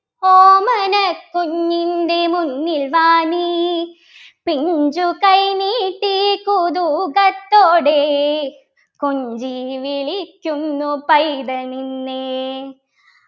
ഓമനക്കുഞ്ഞിൻ്റെ മുന്നിൽ വാ നീ പിഞ്ചുകൈ നീട്ടിക്കുതുകത്തോടെ കൊഞ്ചിവിളിക്കുന്നു പൈതൽ നിന്നെ